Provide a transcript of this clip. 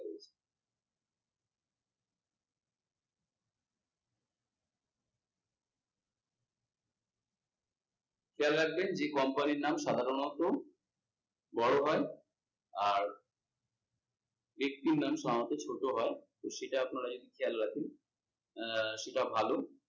খেয়াল রাখবেন যে company এর নাম সাধারণত বড়ো হয় আর সাধারণত ছোট হয়, এটা আপনারা যদি খেয়াল রাখেন আহ সেটা ভালো।